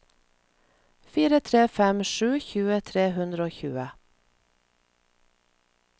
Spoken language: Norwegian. fire tre fem sju tjue tre hundre og tjue